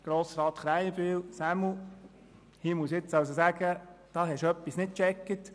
Zu Grossrat Krähenbühl muss ich sagen, dass er etwas nicht verstanden habe.